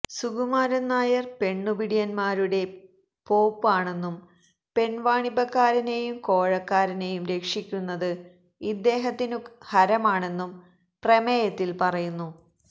സുകുമാരൻ നായർ പെണ്ണുപിടിയന്മാരുടെ പോപ്പ് ആണെന്നും പെൺവാണിഭക്കാരനെയും കോഴക്കാരനെയും രക്ഷിക്കുന്നത് ഇദ്ദേഹത്തിനു ഹരമാണെന്നും പ്രമേയത്തിൽ പറയുന്നു